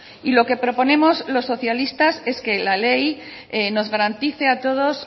y lo que proponemos los socialistas es que la ley nos garantice a todos